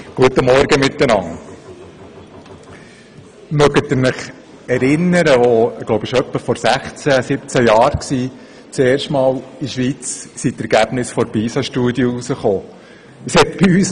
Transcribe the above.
Können Sie sich erinnern, wie vor etwa 16 Jahren in der Schweiz erstmals die Ergebnisse der Pisa-Studie veröffentlicht wurden?